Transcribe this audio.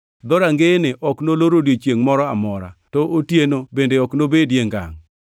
Dhorangeyene ok nolor odiechiengʼ moro amora, to otieno bende ok nobedie ngangʼ.